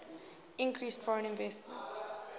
increased foreign investment